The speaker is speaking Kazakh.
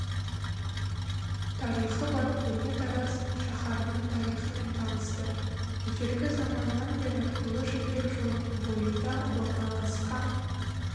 тарихы бар көне тараз шаһарының тарихымен танысты ежелгі заманнан бері ұлы жібек жолының бойында орналасқан